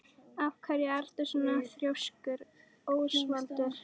Af hverju ertu svona þrjóskur, Ósvaldur?